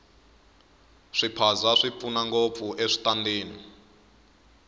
swiphaza swi pfuna ngopfu eswitandini